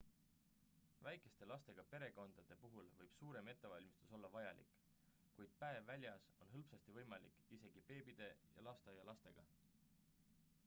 väikeste lastega perekondade puhul võib suurem ettevalmistus olla vajalik kuid päev väljas on hõlpsasti võimalik isegi beebide ja lasteaialastega